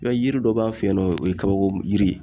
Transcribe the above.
I b'a ye yiri dɔ b'an fe yen nɔ o ye kabako yiri ye